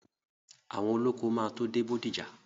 Àwọn olóko máa tó dé Bódìjà.